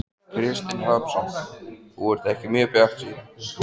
Kristinn Hrafnsson: Þú ert ekki mjög bjartsýn?